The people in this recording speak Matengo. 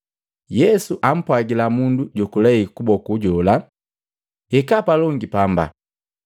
Yesu ampwagila mundu jokulei kuboku jola, “Hikaa palongi pamba.”